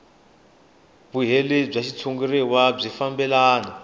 vulehi bya xitshuriwa byi fambelana